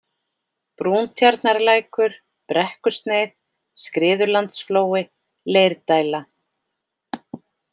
Brúntjarnarlækur, Brekkusneið, Skriðulandsflói, Leirdæla